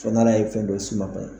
Fo n'Ala ye fɛn dɔ s'u ma